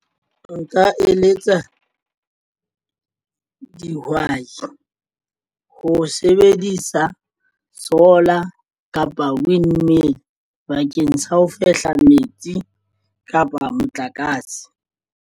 Nka eletsa dihwai ho sebedisa solar kapa windmill bakeng sa ho fehla metsi kapa motlakase.